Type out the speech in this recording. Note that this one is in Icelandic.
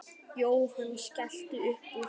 Jóhann skellti upp úr.